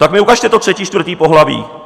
Tak mi ukažte to třetí, čtvrté pohlaví.